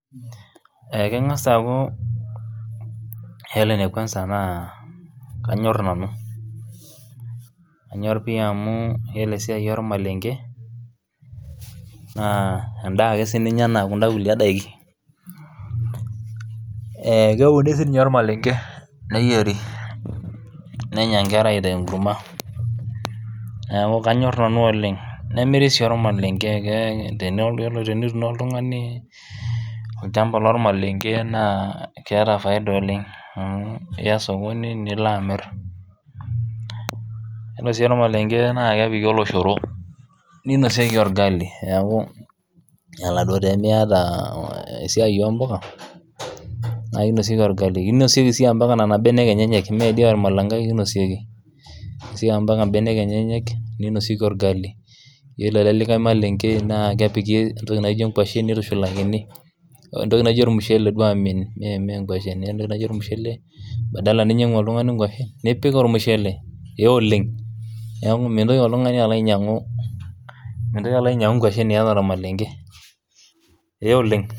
aaku iyiolo ene kuansa naa kanyor nanu, anyor pii amu iyiolo esiai olmarenke, naa edaa ake sii ninye anaa kuda daikin, ee keuni sii ninye olmalenke, neyieri, nenya nkera aitaas enkurma. neeku kanyor nanu oleng, nemiri sii olmalenke, tenetuuno oltungani olchampa lolmalenke naa keya faida oleng ,amu iya sokoni nilo amir. iyiolo sii olmalenke naa kepiki oloshoro ninosieki olgali. neeku ore pee Miata mpuka naa kinosieki. olgali ata Nena benek enyenyek. mme ormalenke ake inoksieki. ore elde likae malenke kinosieki nkuashen,,nitushulakini entoki naijo ollumushele mme nkwashen. badala ninyiangu oltungani nkwashen nipik olmushele, neeku mintoki oltungani ainyiangu nkwashen iyata ormalenke, ee Oleng.